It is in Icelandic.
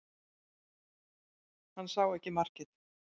Hann sá ekki markið